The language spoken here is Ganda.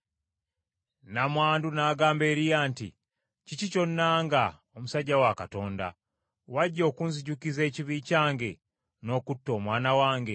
Nnamwandu n’agamba Eriya nti, “Kiki ky’onnanga, omusajja wa Katonda? Wajja okunzijukiza ekibi kyange n’okutta omwana wange?”